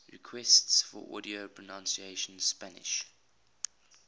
requests for audio pronunciation spanish